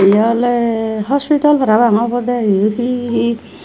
ye oley hospital parapang obodey yan he he.